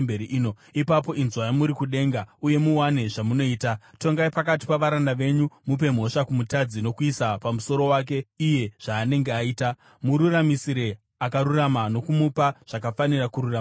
ipapo inzwai muri kudenga uye muwane zvamunoita. Tongai pakati pavaranda venyu, mupe mhosva kumutadzi nokuisa pamusoro wake iye zvaanenge aita. Mururamisire akarurama nokumupa zvakafanira kururama kwake.